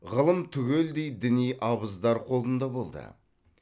ғылым түгелдей діни абыздар қолында болды